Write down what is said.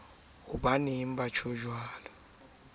ha ba sa tsotella ho